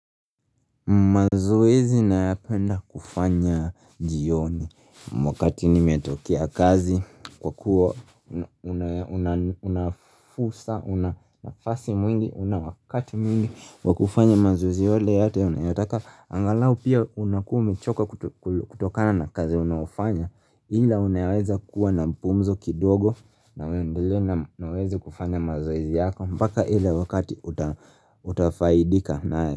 Mazoezi nayapenda kufanya jioni wakati nimetokea kazi kwa kuwa Una fursa una nafasi mwingi una wakati mwingi wa kufanya mazoezi yale yote unayataka angalau pia unakuwa umechoka kutokana na kazi unaofanya ila unayaweza kuwa na mpumzo kidogo na uendele na uweze kufanya mazoezi yako mpaka ile wakati utafaidika nae.